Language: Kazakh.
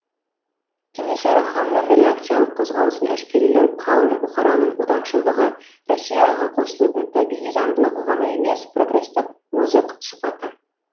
кенесары ханның реакциялық қозғалысын әшкерелеу қалың бұқараның отаншылдығы россияға қосылудың табиғи заңдылығы ғана емес прогрестік озық сыпаты